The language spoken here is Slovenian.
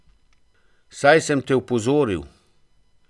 Saj sem te opozoril.